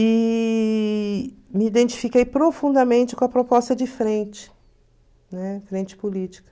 E me identifiquei profundamente com a proposta de frente, né, frente política.